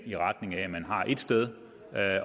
i retning af at man har ét sted